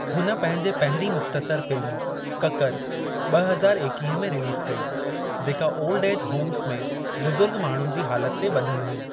हुन पंहिंजे पहिरीं मुख़्तसर फ़िल्म ककर ॿ हज़ार एकीहें में रिलीज़ कई जेका ओल्ड एज होम्स में बुज़ुर्ग माण्हुनि जी हालति ते ॿधल हुई।